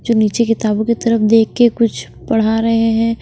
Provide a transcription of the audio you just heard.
जो नीचे किताबों की तरफ देख के कुछ पढ़ा रहे हैं।